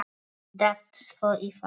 Datt svo í það.